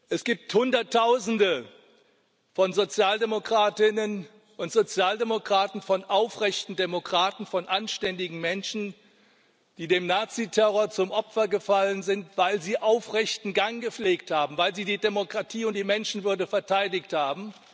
Es gibt Hunderttausende von Sozialdemokratinnen und Sozialdemokraten, von aufrechten Demokraten, von anständigen Menschen, die dem Naziterror zum Opfer gefallen sind, weil sie den aufrechten Gang gepflegt haben, weil sie die Demokratie und die Menschenwürde verteidigt haben.